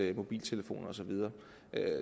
mobiltelefoner og så videre